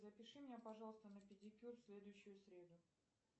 запиши меня пожалуйста на педикюр в следующую среду